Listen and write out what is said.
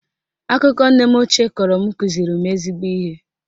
Akụkọ nne m ochie kọrọ m kụziri m ezigbo ihe